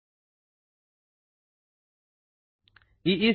ಈಸ್ಚೆಮಾ schema ದ ಮೇಲಿರುವ ವಿಂಡೊಗೆ ಹೋಗಿ